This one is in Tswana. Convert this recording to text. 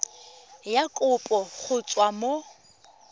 ya kopo go tswa mo